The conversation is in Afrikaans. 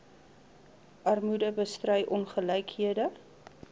armoede bestry ongelykhede